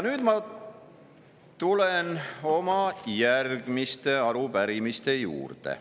Nüüd ma tulen järgmiste arupärimiste juurde.